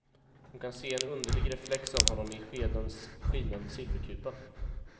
Hon kan se en underlig reflex av honom i skedens skinande silverkupa.